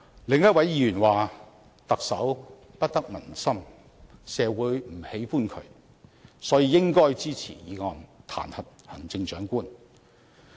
另一位議員說特首不得民心，社會不喜歡他，所以應該支持議案，彈劾行政長官。